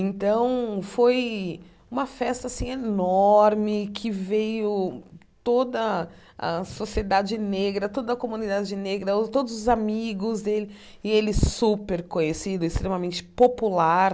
Então, foi uma festa assim enorme, que veio toda a sociedade negra, toda a comunidade negra, o todos os amigos dele, e ele super conhecido, extremamente popular.